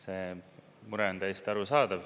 See mure on täiesti arusaadav.